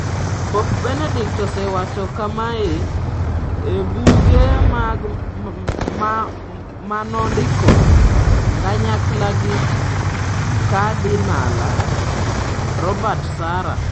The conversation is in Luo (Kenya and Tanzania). Pop Benedict osewacho kamae e buge ma nondiko kanyakla gi Kadinala Robert Sarah.